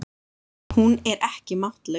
Hún er ekki máttlaus.